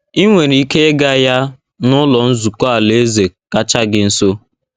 I nwere ike ịga ya n’Ụlọ Nzukọ Alaeze kacha gị nso.